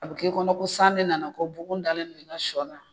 A bɛ kɛ i kɔnɔ ko san de nana ko bugun dalen don i ka sɔ kan.